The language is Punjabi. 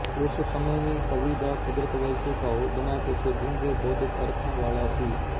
ਇਸ ਸਮੇਂ ਵੀ ਕਵੀ ਦਾ ਕੁਦਰਤ ਵੱਲ ਝੁਕਾਉ ਬਿਨ੍ਹਾਂ ਕਿਸੇ ਡੂੰਘੇ ਬੋਧਿਕ ਅਰਥਾਂ ਵਾਲਾਂ ਸੀ